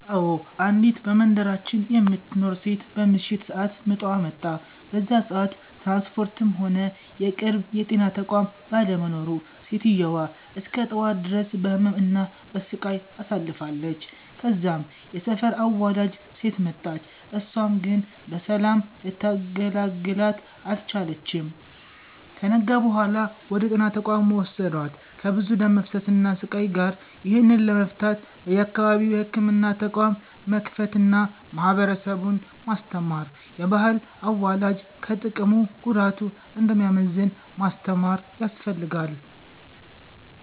አዎ፤ አንዲት በመንደራችን የምትኖር ሴት በምሽት ሰአት ምጧ መጣ። በዛ ሰአት ትራንስፖርትም ሆነ የቅርብ የጤና ተቋም ባለመኖሩ ሴትዮዋ እስከ ጠዋት ድረስ በህመም እና በሰቃይ አሳልፍለች። ከዛም የሰፈር አዋላጅ ሴት መጣች እሳም ግን በሰላም ልታገላግላት አልቻለችም። ከነጋ በኋላ ወደ ጤና ተቋም ወሰዷት ከብዙ ደም መፍሰስ እና ስቃይ ጋር። ይህንን ለመፍታት በየአካባቢው የህክምና ተቋም መክፈት አና ማህበረሰቡን ማስተማር፤ የባህል አዋላጅ ከጥቅሙ ጉዳቱ እንደሚያመዝን ማስተማር ያስፈልጋል።